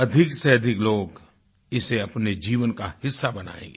अधिक से अधिक लोग इसे अपने जीवन का हिस्सा बनायेंगे